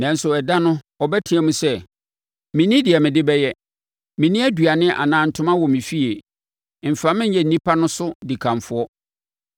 Nanso, ɛda no ɔbɛteam sɛ, “Menni deɛ mede bɛyɛ. Menni aduane anaa ntoma wɔ me fie; mfa me nyɛ nnipa no so dikanfoɔ.”